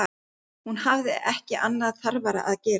Hún hafði ekki annað þarfara að gera.